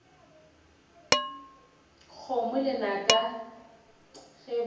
kgomo lenaka ge ba re